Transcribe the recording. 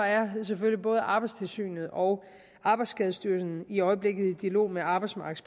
er selvfølgelig både arbejdstilsynet og arbejdsskadestyrelsen i øjeblikket i dialog med arbejdsmarkedets